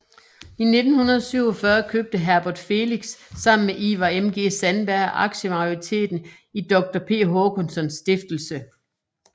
I 1947 købte Herbert Felix sammen med Ivar MG Sandberg aktiemajoriteten i Doktor P Håkanssons stiftelse